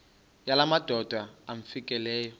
yala madoda amfikeleyo